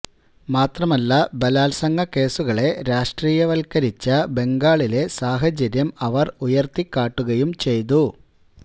മാത്രമല്ല ബലാത്സംഗ കേസുകളെ രാഷ്ട്രീയവത്കരിച്ച ബംഗാളിലെ സാഹചര്യം അവര് ഉയര്ത്തിക്കാട്ടുകയും ചെയ്തു